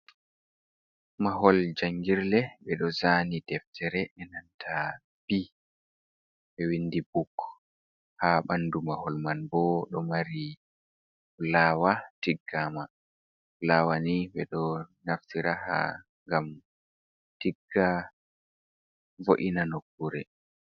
Mahol janngirle. Ɓe ɗo zaani deftere, e nanta b, ɓe windi buk. Haa ɓandu mahol man bo, ɗo mari laawa tiggama. Laawa ni, ɓe ɗo naftira haa ngam tigga vo’ina nukkure.